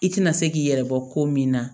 I tɛna se k'i yɛrɛ bɔ ko min na